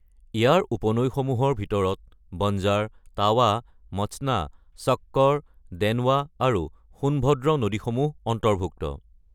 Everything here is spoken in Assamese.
ইয়াৰ উপনৈসমূহৰ ভিতৰত বঞ্জাৰ, টাৱা, মচনা, শক্কৰ, দেনৱা আৰু সোণভদ্ৰ নদীসমূহ অন্তৰ্ভুক্ত।